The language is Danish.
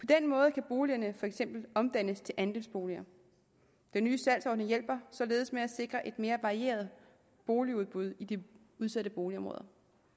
den måde kan boligerne for eksempel omdannes til andelsboliger den nye salgsordning hjælper således med til at sikre et mere varieret boligudbud i de udsatte boligområder